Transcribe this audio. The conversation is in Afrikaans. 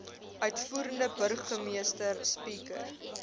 uitvoerende burgemeester speaker